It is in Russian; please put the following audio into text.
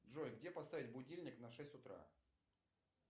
джой где поставить будильник на шесть утра